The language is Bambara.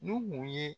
Nuhu ye